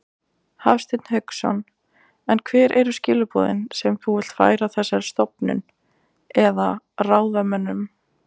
Hafsteinn Hauksson: En hver eru skilaboðin sem þú vilt færa þessari stofnun eða, eða ráðamönnum?